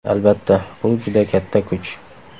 Albatta, bu juda katta kuch.